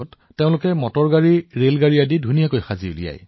যদি এজন শিক্ষাৰ্থীয়ে পাজল নিৰ্মাণ কৰি আছে কোনোবাই গাড়ী আৰু ৰেল নিৰ্মাণ কৰি আছে